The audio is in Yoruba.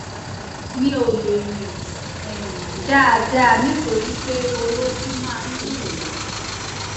mi ò le rìn um dáadáa nítorí pé orókún máa ń dùn mí